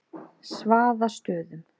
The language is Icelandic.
Svaðastöðum